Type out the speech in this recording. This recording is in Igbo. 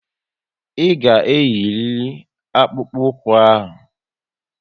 Ị ga eyiriri akpụkpu ụkwụ ahụ!